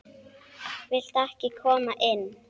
Viltu ekki koma inn?